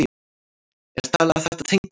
Er talið að þetta tengist?